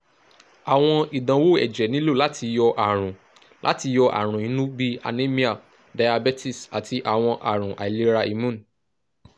awọn idanwo ẹjẹ nilo lati yọ arun lati yọ arun inu bi anemia diabetes ati awọn arun ailera imun